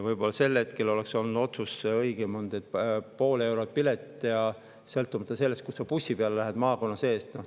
Võib-olla sel hetkel oleks olnud õigem otsus, et pilet pool eurot, sõltumata sellest, kust sa bussi peale lähed maakonna sees.